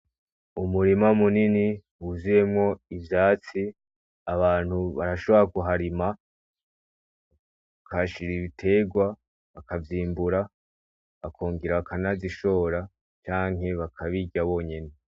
umurima munini wuzuyemwo ivyatsi abantu barashobora kuharima bakahashira ibitegwa bakavyimbura bakongera bakanazishora canke bakabirya bonyene.